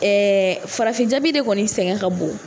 Ɛɛ farafin jabi de kɔni sɛgɛn ka bon